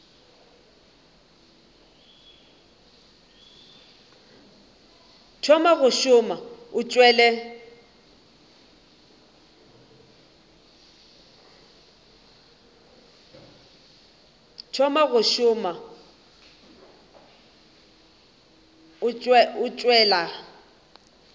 thoma go šoma o tšwela